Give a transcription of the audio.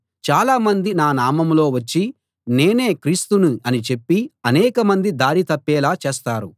చాలామంది నా నామంలో వచ్చి నేనే క్రీస్తుని అని చెప్పి అనేకమంది దారి తప్పేలా చేస్తారు